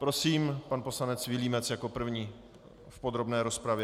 Prosím, pan poslanec Vilímec jako první v podrobné rozpravě.